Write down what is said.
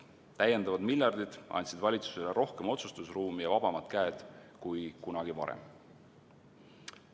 Täiendavad miljardid andsid valitsusele rohkem otsustusruumi ja vabamad käed kui kunagi varem.